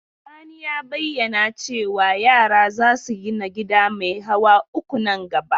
Sani ya bayyana cewa yara za su gina gida mai hawa uku nan gaba.